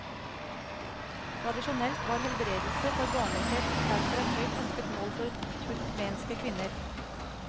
Tradisjonelt var helbredelse for barnløshet derfor et høyt ønsket mål for turkmenske kvinner.